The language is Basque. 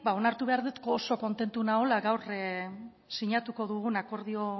onartu behar dut oso kontentu nagoela gaur sinatuko dugun akordio